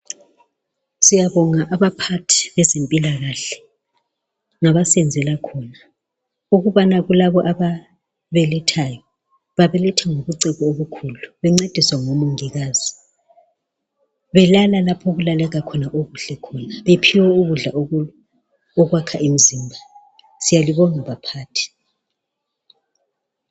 Siyabonga abaphathi bezempilakahle ngabasenzela khona ukubana kulabo ababelethayo babeletha ngobucebo obukhulu bencediswa ngomongikazi belala lapho okulaleka khona okuhle khona bephiwa ukudla okwakha imzimba. Siyalibonga baphathi.